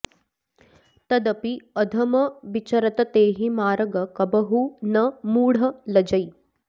तदपि अधम बिचरत तेहि मारग कबहुँ न मूढ़ लजै